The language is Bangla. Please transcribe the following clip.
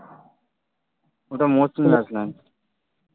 ওটা মৌসুমি island